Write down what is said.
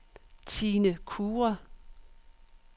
Tine Kure